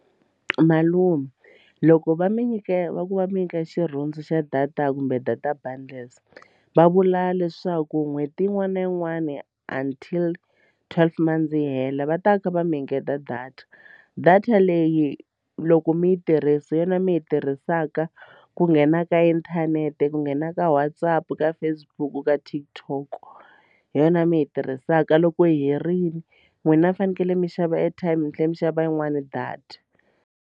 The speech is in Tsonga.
Malume loko va mi nyika va ku va mi nyika xirhundzu xa data kumbe data bundles va vula leswaku n'hweti yin'wana na yin'wani until twelve months yi hela va ta va kha va mi engeta data data leyi loko mi yi tirhisa hi yona mi yi tirhisaka ku nghena ka inthanete ku nghena ka WhatsApp ka Facebook ka TikTok hi yona mi yi tirhisaka loko yi herile n'wina a fanekele mi xava airtime mi tlhela mi xava yin'wani data.